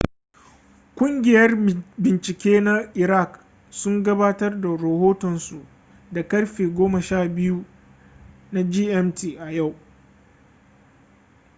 kungiyar bincike na iraq sun gabatar da rohotonsu da karfe 12.00 gmt a yau